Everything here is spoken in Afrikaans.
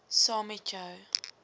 saam met jou